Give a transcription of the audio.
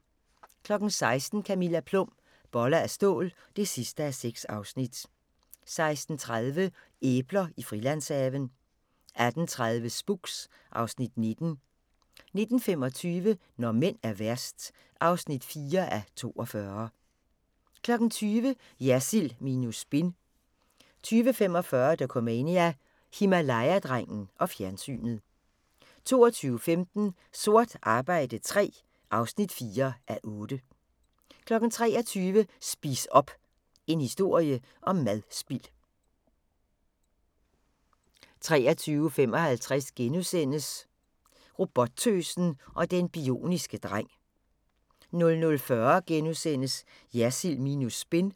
16:00: Camilla Plum – Boller af stål (6:6) 16:30: Æbler i Frilandshaven 18:30: Spooks (Afs. 19) 19:25: Når mænd er værst (4:42) 20:00: Jersild minus spin 20:45: Dokumania: Himalaya-drengen og fjernsynet 22:15: Sort arbejde III (4:8) 23:00: Spis op! – en historie om madspild 23:55: Robottøsen og den bioniske dreng * 00:40: Jersild minus spin *